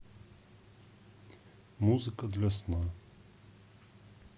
музыка для сна